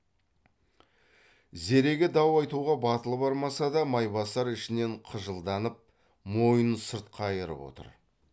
зереге дау айтуға батылы бармаса да майбасар ішінен қыжалданып мойнын сырт қайырып отыр